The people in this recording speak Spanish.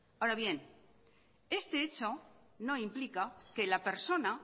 ahora bien este hecho no implica que la persona